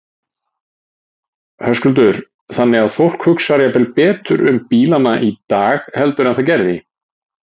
Höskuldur: Þannig að fólk hugsar jafnvel betur um bílana í dag heldur en það gerði?